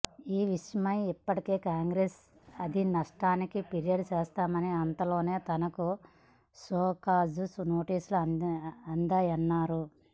ఈ విషయమై ఇప్పటికే కాంగ్రెస్ అధిష్టానానికి ఫిర్యాదు చేశామని అంతలోనే తనకు షోకాజు నోటీసులు అందాయన్నారు